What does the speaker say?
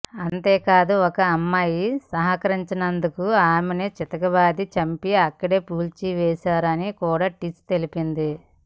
అంతేకాదు ఒక అమ్మాయి సహకరించనందుకు ఆమెను చితకబాది చంపి అక్కడే పూడ్చేశారని కూడా టిస్ తెలిపింది